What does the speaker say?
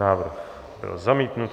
Návrh byl zamítnut.